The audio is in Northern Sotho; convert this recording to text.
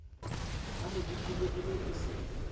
a mo dikologile e se